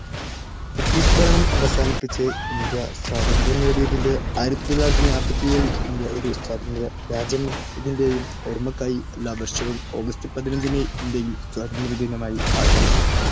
British ഭരണം അവസാനിപ്പിച്ച് India സ്വാതന്ത്ര്യം നേടിയതിന്റെ, ആയിരത്തി തൊള്ളായിരത്തി നാപ്പത്തി ഏഴിൽ ഇന്ത്യ ഒരു സ്വതന്ത്ര രാജ്യമായതിന്റെയും ഓർമ്മക്കായി എല്ലാ വർഷവും ഓഗസ്റ്റ്പതിനഞ്ചിന്‌ ഇന്ത്യയിൽ സ്വാതന്ത്ര്യ ദിനമായി ആചരിക്കുന്നു.